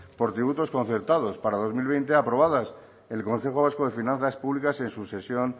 por tributos concertados para dos mil veinte aprobadas el consejo vasco de finanzas públicas en su sesión